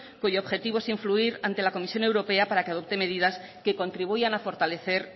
cuyo objetivo es influir ante la comisión europea para que adopte medidas que contribuyan a fortalecer